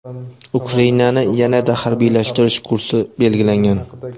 Ukrainani yanada harbiylashtirish kursi belgilangan.